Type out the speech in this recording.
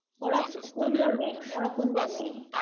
ওরা কোন ধর্মের? ওরা কোন ধর্মের?